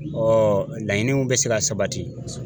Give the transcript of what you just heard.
Ɔ laɲiniw bɛ se ka sabati